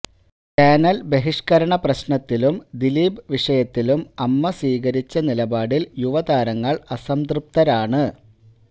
channel ബഹിഷ്കരണ പ്രശ്നത്തിലും ദിലീപ് വിഷയത്തിലും അമ്മ സ്വീകരിച്ച നിലപാടില് യുവതാരങ്ങള് അസംതൃപ്തരാണ്